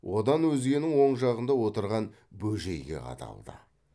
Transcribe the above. одан өзгенің оң жағында отырған бөжейге қадалды